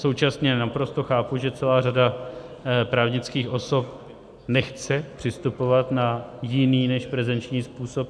Současně naprosto chápu, že celá řada právnických osob nechce přistupovat na jiný než prezenční způsob.